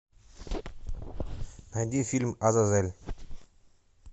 найди фильм азазель